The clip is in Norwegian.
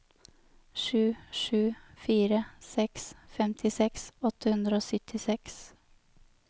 sju sju fire seks femtiseks åtte hundre og syttiseks